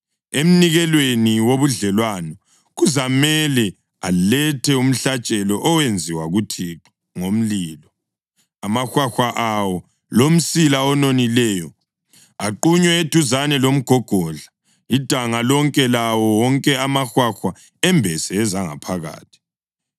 Emnikelweni wobudlelwano kuzamele alethe umhlatshelo owenziwa kuThixo ngomlilo; amahwahwa awo, lomsila ononileyo aqunywe eduzane lomgogodla, idanga lonke, lawo wonke amahwahwa embese ezangaphakathi,